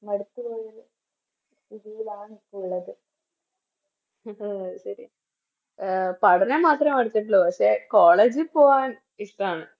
മടുത്ത ഒരു ഇതിലാണിപ്പോ ഉള്ളത് പഠനം മാത്രേ മടുത്തിട്ടുള്ളു പക്ഷെ College പോകാൻ ഇഷ്ട്ടാണ്